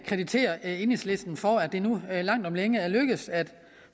kreditere enhedslisten for at det nu langt om længe er lykkedes at